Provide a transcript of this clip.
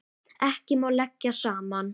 Ekki má leggja saman.